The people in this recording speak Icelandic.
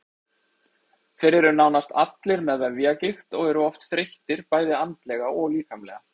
Þeir eru nánast allir með vefjagigt og eru oft þreyttir bæði andlega og líkamlega.